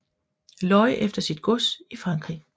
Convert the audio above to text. Leu efter sit gods i Frankrig